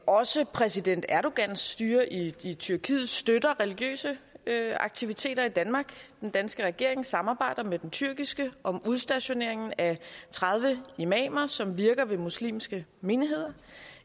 også præsident erdogans styre i i tyrkiet støtter religiøse aktiviteter i danmark den danske regering samarbejder med den tyrkiske om udstationeringen af tredive imamer som virker ved muslimske menigheder